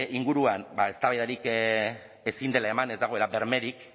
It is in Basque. inguruan eztabaidarik ezin dela eman ez dagoela bermerik